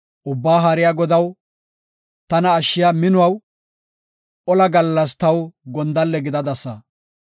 Ubbaa Haariya Godaw, tana ashshiya minuwaw, ola gallas taw gondalle gidadasa.